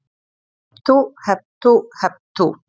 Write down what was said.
Hep tú, hep tú, hep tú.